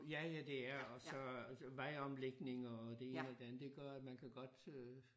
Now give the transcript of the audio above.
Ja ja det er og så vejomlægning og det ene og det andet det gør at man kan godt øh